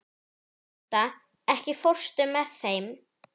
Martha, ekki fórstu með þeim?